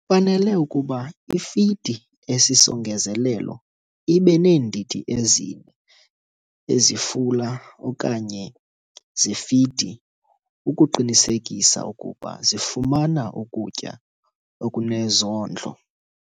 Kufanele ukuba ifidi esisongezelelo ibe neendidi ezi-4 ezifula okanye zefidi ukuqinisekisa ukuba zifumana ukutya okunezondlo.